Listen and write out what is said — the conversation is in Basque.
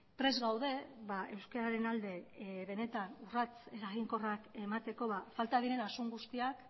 prest gaude euskararen alde benetan urrats eraginkorrak emateko falta diren asun guztiak